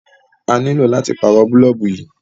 À nílo láti pàárọ̀ bọ̀ọ̀lùbù yí.